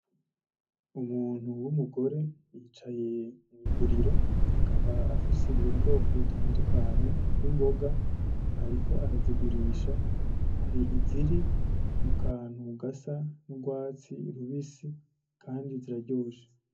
Umuntu w’umugore yicaye mwiguriro akaba afise ubwoko be’imboga butandukanye ariko arazigurisha hari iziri mukantu gasa n'urwatsi rubisi kandi ziraryoshe.